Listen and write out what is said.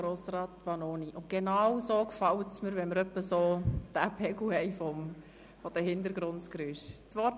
Genauso gefällt es mir, wenn wir in etwa diesen Pegel der Hintergrundgeräusche haben.